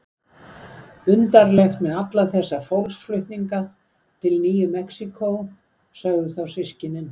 Undarlegt með alla þess fólksflutninga til Nýju Mexíkó, sögðu þá systkinin.